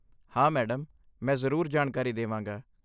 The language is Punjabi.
ਹਾਂ ਮੈਡਮ, ਮੈਂ ਜ਼ਰੂਰ ਜਾਣਕਾਰੀ ਦੇਵਾਂਗਾ।